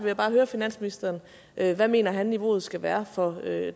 jeg bare høre finansministeren hvad han mener niveauet skal være for